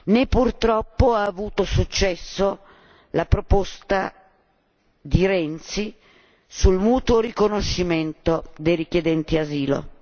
Né purtroppo ha avuto successo la proposta di Renzi sul mutuo riconoscimento dei richiedenti asilo.